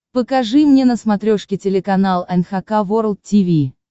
покажи мне на смотрешке телеканал эн эйч кей волд ти ви